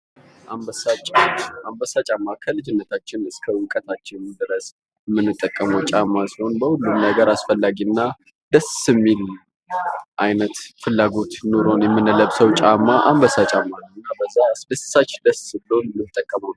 አንበሳ ጫማ አንበሳ ጫማ ከልጅነታችን እስከ ዕውቀታችን ድረስ የምንጠቀመው ጫማ ሲሆን በሁሉም ነገር አስፈላጊ እና ደስ የሚል አይነት ፍላጎት ኖሮን የምንለብሰው ጫማ አንበሳ ጫማ ነው። ደስ ብሎን የምንጠቀመው ነው።